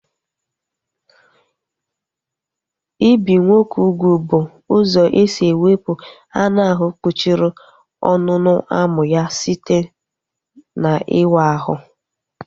Ibi nwoke ugwu bụ ụzọ esi ewepu anụ ahụ kpuchiri ọnụ ọnụ amụ ya site n'ịwa ahụ